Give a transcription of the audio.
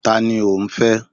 Ta ni ò ń fẹ́?